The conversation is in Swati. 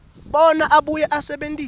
bona abuye asebentise